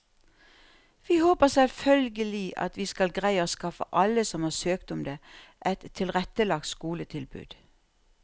Vi håper selvfølgelig at vi skal greie å skaffe alle som har søkt om det, et tilrettelagt skoletilbud.